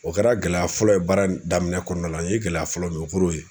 O kɛra gɛlɛya fɔlɔ ye baara daminɛ kɔɔna la. N ye gɛlɛya fɔlɔ min ye o kor'o ye.